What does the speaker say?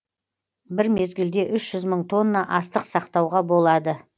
бір мезгілде үш жүз мың тонна астық сақтауға болады